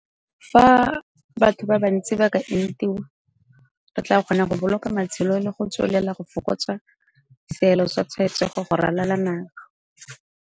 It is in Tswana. Fa batho ba bantsi ba ka entiwa, re tla kgona go boloka matshelo le go tswelela go fokotsa seelo sa tshwaetso go ralala naga.